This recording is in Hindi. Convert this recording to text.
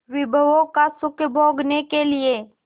विभवों का सुख भोगने के लिए